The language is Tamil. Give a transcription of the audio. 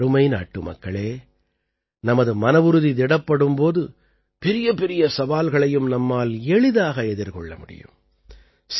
எனதருமை நாட்டுமக்களே நமது மனவுறுதி திடப்படும் போது பெரியபெரிய சவால்களையும் நம்மால் எளிதாக எதிர்கொள்ள முடியும்